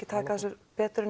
taka þessu betur en